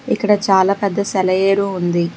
ఇక్కడ చాలా పెద్ద సెలయేరు ఉంది.